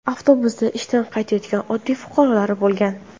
Avtobusda ishdan qaytayotgan oddiy fuqarolar bo‘lgan.